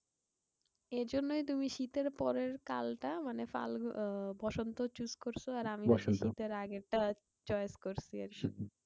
এই জন্যেই তুমি শীতের পরের কালটা মানে ফাল্গুন আহ বসন্ত choose করসো। আর আমি শীতের আগেরটা choice করসি আর কি।